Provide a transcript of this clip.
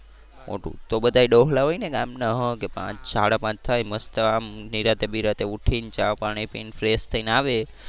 મોટું તો બધા ડોહલા હોય ને ગામના કે હા કે પાંચ સાડા પાંચ થાય મસ્ત આમ નિરાંતે બિરાતે ઉઠીને ચા પાણી પી ને fresh થઈ ને આવે.